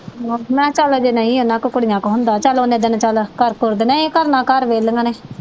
ਮੈਂ ਕਿਹਾ ਚੱਲ ਅਜੇ ਨਈਂ ਉਨ੍ਹਾਂ ਕੋਲ ਕੁੜੀਆਂ ਕੋਲ ਹੁੰਦਾ। ਚਲ ਓਨੇ ਦਿਨ ਚਲ ਕਰ ਕੁਰ ਦਿਨਿਆ, ਇਹ ਕਿਹੜਾ ਘਰ ਵਿਹਲੀਆਂ ਨੇ।